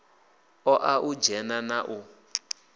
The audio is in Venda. ṱoḓa u dzhena na u